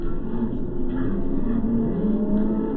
Ciana citinarĩra mũno mami athiĩ.